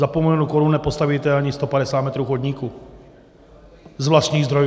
Za půl milionu korun nepostavíte ani 150 metrů chodníku z vlastních zdrojů.